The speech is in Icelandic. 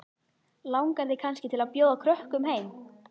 Langar þig kannski til að bjóða krökkum heim?